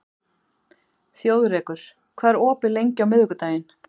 Þjóðrekur, hvað er opið lengi á miðvikudaginn?